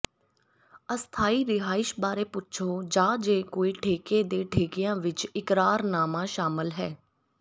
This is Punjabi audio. ਅਸਥਾਈ ਰਿਹਾਇਸ਼ ਬਾਰੇ ਪੁੱਛੋ ਜਾਂ ਜੇ ਕੋਈ ਠੇਕੇ ਦੇ ਠੇਕਿਆਂ ਵਿਚ ਇਕਰਾਰਨਾਮਾ ਸ਼ਾਮਲ ਹੈ